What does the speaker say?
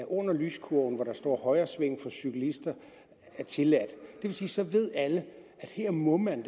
under lyskurven hvor der står højresving for cyklister tilladt så ved alle at her må man